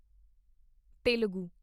Telugu